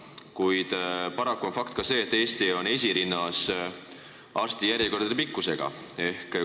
Paraku on fakt, et Eesti on arstijärjekordade pikkuse poolest esirinnas.